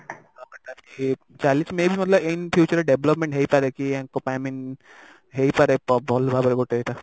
ତ better କି ଚାଲିଛି may be ମୋତେ ଲାଗିଲା ଏଇନେ future ରେ development ହେଇପାରେ କି ଆଙ୍କ ପାଇଁ i mean ହେଇପାରେ ଭଲ ଭାବରେ ଗୋଟେ ଏଇଟା